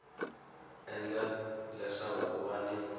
endla leswaku ku va ni